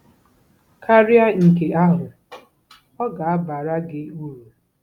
Karịa nke ahụ, ọ ga-abara gị uru.